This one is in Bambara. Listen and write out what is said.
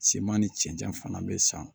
Siman ni cɛncɛn fana bɛ san